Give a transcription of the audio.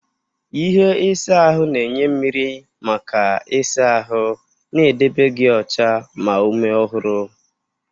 ihe isa ahụ na-enye mmiri maka ịsa ahụ, na-edebe gị ọcha ma ume ọhụrụ.